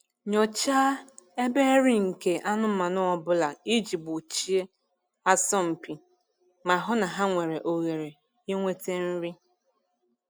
Nyochaa ebe nri nke anụmanụ ọ bụla iji gbochie asọmpi ma hụ na ha nwere ohere inwete nri